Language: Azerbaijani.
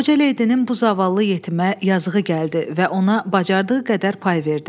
Qoca ledinin bu zavallı yetimə yazığı gəldi və ona bacardığı qədər pay verdi.